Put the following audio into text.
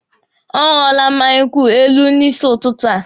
Ọ ṅụọla mma nkwụ elu n'isi ụtụtụ a.